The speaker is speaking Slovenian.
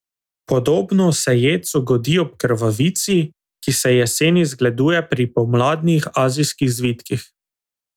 Podobno se jedcu godi ob krvavici, ki se jeseni zgleduje pri pomladnih azijskih zvitkih.